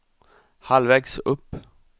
halvvägs upp